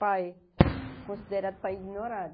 Pais, considerado pai ignorado.